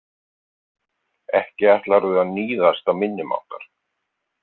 Ekki ætlarðu að níðast á minni máttar?